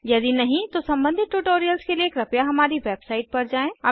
यदि नहीं तो सम्बंधित ट्यूटोरियल्स के लिए कृपया हमारी वेबसाइट पर जाएँ